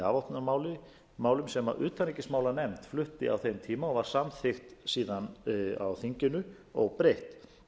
íslendinga í afvopnunarmálum sem utanríkismálanefnd flutti á þeim tíma og var samþykkt síðan á þinginu óbreytt